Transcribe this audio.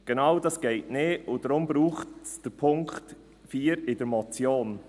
Genau das geht nicht, und deshalb braucht es den Punkt 4 der Motion.